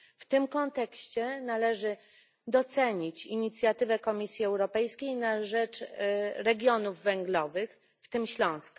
W tym kontekście należy docenić inicjatywę Komisji Europejskiej na rzecz regionów węglowych, w tym Śląska.